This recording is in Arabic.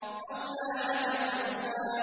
أَوْلَىٰ لَكَ فَأَوْلَىٰ